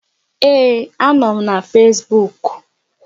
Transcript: Ee, a nọ m na Fesbuuk